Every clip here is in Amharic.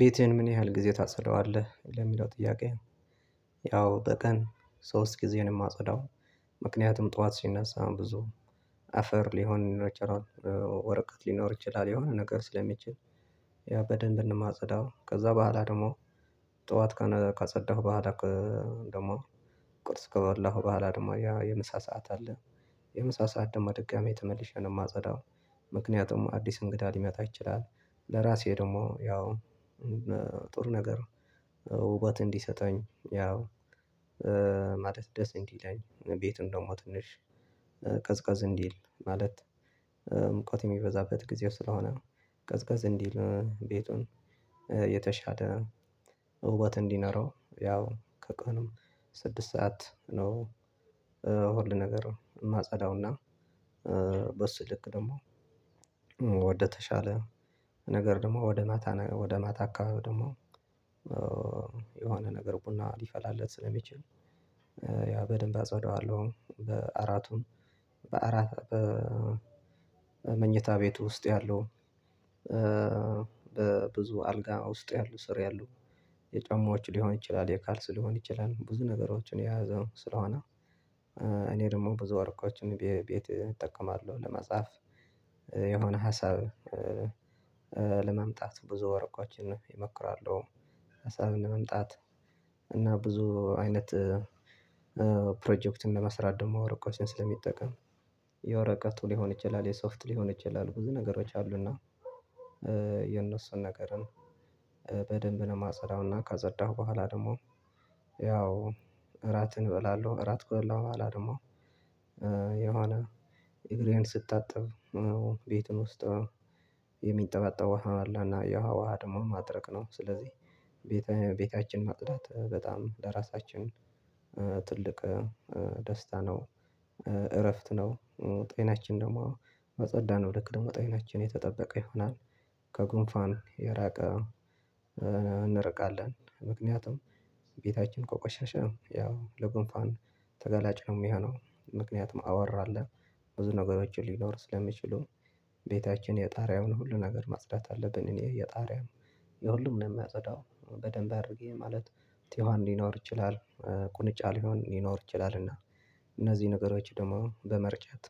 ቤትህን ምን ያህል ጊዜ ታጸዳዋለህ ለሚለው ጥያቄ? ያው በቀን ሶስት ጊዜ ነው የማጸዳው። ምክንያቱም ጠዋት ስነሳ ብዙ አፈር ሊሆን ወረቀት ሊኖር ይችላል የሆነ ነገር ስለሚችል። ያ በደንብ እንደማጸዳው ከዛ በኋላ ደግሞ ጠዋት ካጸዳሁ በኋላ ደግሞ ቁርስ ከበላሁ በኋላ ደግሞ ያ የምሳ ሰዓት አለ የምሳ ሰዓት ደግሞ ደጋሚ የተመለሼ ነው የማጸዳው። ምክንያቱም አዲስ እንግዳ ሊመጣ ይችላል። ለራሴ ደግሞ ያው ጥሩ ነገር ውበት እንዲሰጠኝ ያው ማለት ደስ እንዲለኝ ቤቱ ደግሞ ትንሽ ቀዝቀዝ እንዲል ማለት። ሙቀት የሚበዛበት ጊዜ ስለሆነ ቀዝቀዝ እንዲል ቤቱን የተሻለ ውበት እንዲኖረው ያው ከቀኑም ስድስት ሰዓት ነው። ሁል ነገር የማጸዳውና በሱ ልክ ደግሞ ወደ ተሻለ ነገር ደግሞ ወደ ማታ ወደ ማታ አካባቢ ደግሞ የሆነ ነገር ቡና ሊፈላለት ስለሚችል ያው በደንብ አጽዋደዋለሁ። በአራቱም በአራት በመኝታ ቤቱ ውስጥ ያለው በብዙ አልጋ ውስጥ ያለው ስር ያለው የጨማዎች ሊሆን ይችላል የካልስ ሊሆን ይችላል ብዙ ነገሮችን የያዘው ስለሆነ። እኔ ደግሞ ብዙ ወረቆችን ቤት እጠቀማለሁ ለመጻፍ የሆነ ሀሳብ ለማምጣቱ ብዙ ወረቆችን ነው የመክራለሁ። ሀሳብን ለመምጣት እና ብዙ አይነት ፕሮጀክት ለመስራት ደግሞ ወረቀቶችን ስለምጠቀም የወረቀቱ ሊሆን ይችላል የሶፍት ሊሆን ይችላል ብዙ ነገሮች አሉና። የነሱን ነገርን በደንብ ነው የማጸዳው። እና ዳጸዳሁ በኋላ ደግሞ ያው እራትን እበላለሁ እራት ከበላሁ በኋላ ደግሞ የሆነ እግሬን ስታጥብ ቤቱን ውስጥ የሚጠባጠበው ውሃ አለና ያውሃ ደግሞ ማድረቅ ነው ስለዚህ ቤታችን ማጽዳት በጣም ለራሳችን ትልቅ ደስታ ነው። እረፍት ነው ጤናችን ደግሞ በጸዳነው ልክ ደግሞ ጤናችን የተጠበቀ ይሆናል። ከጉንፋን የራቀ እንርቃለን ምክንያቱም ቤታችን ከቆሸሸ ያው ለጉንፋን ተጋላጭ ነው የሚሆነው ምክንያቱም አወራለ ብዙ ነገሮችን ሊኖር ስለሚችሉ ቤታችን የጣሪያውን ሁሉ ነገር ማጽዳት አለብን እኔ የጣሪያው የሁሉም ነው የሚያጸዳው። በደንብ አድርጌ ማለት ቲዋን ሊኖር ይችላል ቁንጫ ሊሆን ሊኖር ይችላል እና እነዚህ ነገሮች ደግሞ በመርጨት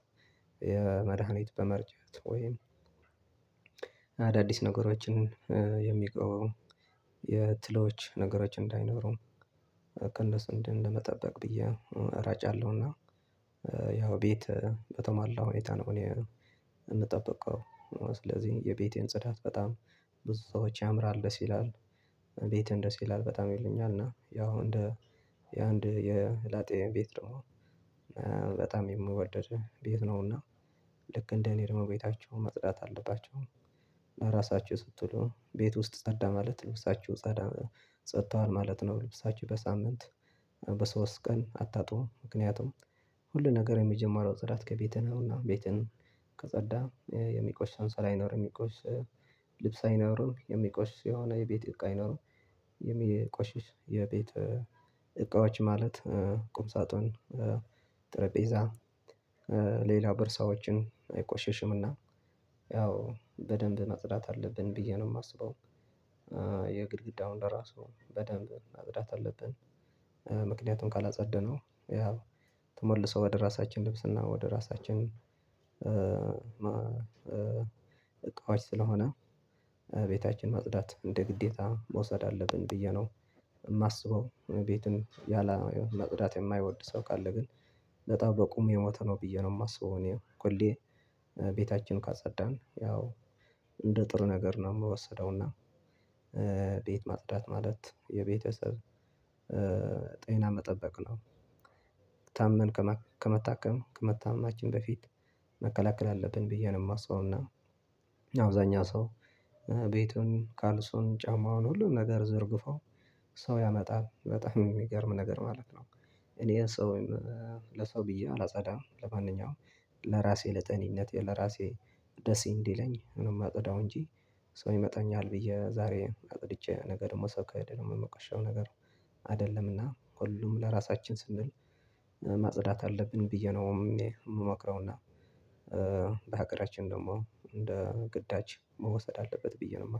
የመድሃኒት በመርጨት ወይም አዳዲስ ነገሮችን የሚቆየው የትሎች ነገሮች እንዳይኖረው ቅንድስ እንደ ለመጠበቅ ብዬ እራጫለሁና። ያው ቤት በተሟላ ሁኔታ ነው እኔ የምጠብቀው ስለዚህ የቤቴን ጽዳት በጣም ብዙ ሰዎች ያምራል ደስ ይላል። ቤትህን ደስ ይላል በጣም ይሉኛል እና ያው እንደ የአንድ የላጤ ቤት ደግሞ በጣም የምወደድ ቤት ነውና። ልክ እንደኔ ደግሞ ቤታቸው ማጽዳት አለባችሁ ለራሳችሁ ስትሉ ቤት ውስጥ ጸዳ ማለት ልብሳችሁ ጸዳ ጸድቷል ማለት ነው። ልብሳችሁ በሳምንት በሶስት ቀን አታጥቡም ምክንያቱም ሁሉ ነገር የመጀመሪያው ጽዳት ከቤትህ ነው። እና ቤትህን ዳጸዳህ የሚቆሽሽ አንሶላ አይኖርም የሚቆሽሽ ልብስ አይኖርም የሚቆሽሽ የሆነ የቤት እቃ አይኖርም። የሚቆሽሽ የቤት እቃዎች ማለት ቁምሳጥን ጠረጴዛ ሌላ በርሳዎችን አይቆሸሽምና ያው በደንብ ማጽዳት አለብን ብዬ ነው የማስበው። የግድግዳውን ለራሱ በደንብ ማጽዳት አለብን። ምክንያቱም ካላጸዳነው ያው ተሞልሶ ወደ ራሳችን ልብስና ወደ ራሳችን እቃዎች ስለሆነ ቤታችን ማጽዳት እንደ ግዴታ መውሰድ አለብን ብዬ ነው የማስበው። ቤትን ያላ መጽዳት የማይወድ ሰው ካለ ግን ለጠዋት በቁም የሞተ ነው ብዬ ነው የማስበው። እኔ ሁሌ ቤታችን ካጸዳን ያው እንደ ጥሩ ነገር ነው የምወሰደው። እና ቤት ማጽዳት ማለት የቤተሰብ ጤና መጠበቅ ነው። ታመን ከመታከም ከመታመማችን በፊት መከላከል አለብን ብዬ ነው የማስበው። እና አብዛኛው ሰው ቤቱን ካልሱን ጫማውን ሁሉን ነገር ዘርግፎ ሰው ያመጣል በጣም የሚገርም ነገር ማለት ነው። እኔ ሰው ወይም ለሰው ብዬ አላጸዳም ለማንኛውም ለራሴ ለጠኔነቴ ለራሴ ደሴ እንዲለኝ ነው የማጠዳው። እንጂ ሰው ይመጣኛል ብዬ ዛሬ አጥድቼ ነገር ደግሞ ሰው ከሄደ ደግሞ የምቀሸው ነገር አይደለምና ሁሉም ለራሳችን ስንል ማጽዳት አለብን ብዬ ነው የምመክረውና። በሀገራችን ደግሞ እንደ ግዳጅ መወሰድ አለበት ብዬ ነው